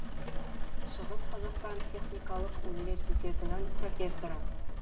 шығыс қазақстан техникалық университетінің профессоры